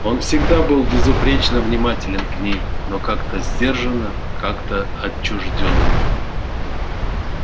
он всегда был безупречно внимателен к ней но как-то сдержанно как-то отчуждённо